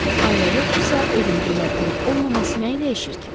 Ailə yoxdursa, evin gözəl olub-olmaması nəyi dəyişir ki?